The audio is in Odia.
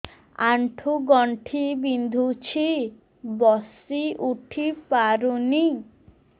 ଆଣ୍ଠୁ ଗଣ୍ଠି ବିନ୍ଧୁଛି ବସିଉଠି ପାରୁନି